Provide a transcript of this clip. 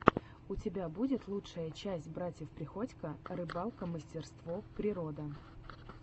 у тебя будет лучшая часть братьев приходько рыбалка мастерство природа